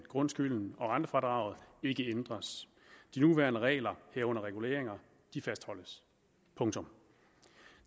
grundskylden og rentefradraget ikke ændres de nuværende regler herunder reguleringer fastholdes